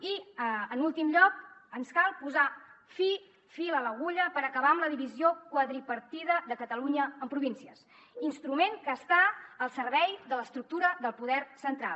i en últim lloc ens cal posar fil a l’agulla per acabar amb la divisió quadripartida de catalunya en províncies instrument que està al servei de l’estructura del poder central